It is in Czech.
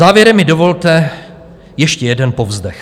Závěrem mi dovolte ještě jeden povzdech.